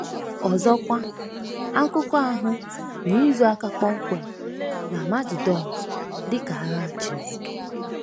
Ọzọkwa, akụkọ ahụ na-ezo aka kpọmkwem n'Amagedọn dị ka agha Chineke.